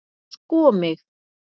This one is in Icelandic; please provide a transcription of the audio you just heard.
sko mig!